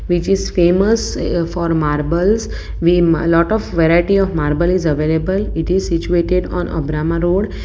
which is famous eh for marbles we lot of variety of marble is available it is situated on a brama road.